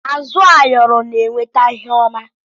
Azụ ayọrọ na eweta ihe ọma.